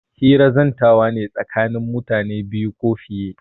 Hira zantawa ne tsakanin mutum biyu ko fiye.